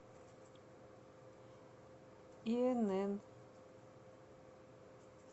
инн